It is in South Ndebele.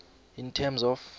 in terms of